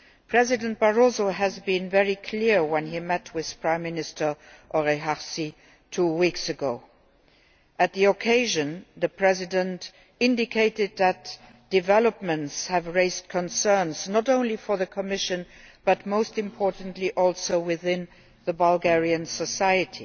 President Barroso was very clear when he met with Prime Minister Oresharski two weeks ago. On that occasion, the President indicated that developments have raised concerns not only for the Commission but, most importantly within Bulgarian society